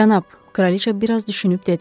Cənab, Kraliça bir az düşünüb dedi.